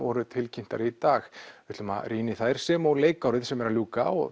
voru tilkynntar í dag við ætlum að rýna í þær sem og leikárið sem er að ljúka